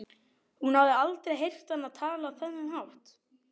Hún hafði aldrei heyrt hann tala á þennan hátt.